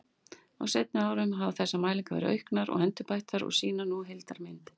Á seinni árum hafa þessar mælingar verið auknar og endurbættar og sýna nú vel heildarmynd.